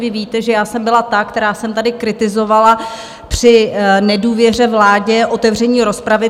Vy víte, že já jsem byla ta, která jsem tady kritizovala při nedůvěře vládě otevření rozpravy.